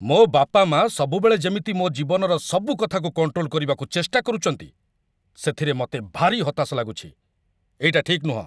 ମୋ ବାପାମାଆ ସବୁବେଳେ ଯେମିତି ମୋ ଜୀବନର ସବୁ କଥାକୁ କଣ୍ଟ୍ରୋଲ କରିବାକୁ ଚେଷ୍ଟା କରୁଚନ୍ତି, ସେଥିରେ ମତେ ଭାରି ହତାଶ ଲାଗୁଚି । ଏଇଟା ଠିକ୍ ନୁହଁ ।